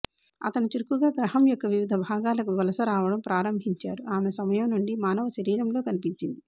అతను చురుకుగా గ్రహం యొక్క వివిధ భాగాలకు వలసరావడం ప్రారంభించారు ఆమె సమయం నుండి మానవ శరీరంలో కనిపించింది